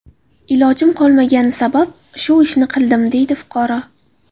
Ilojim qolmagani sabab shu ishni qildim”, deydi fuqaro.